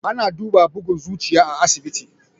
Ana duba bugun zuciya a asibiti.